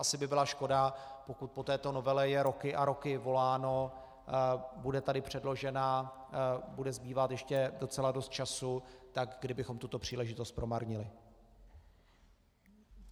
Asi by byla škoda, pokud po této novele je roky a roky voláno, bude tady předložena, bude zbývat ještě docela dost času, tak kdybychom tuto příležitost promarnili.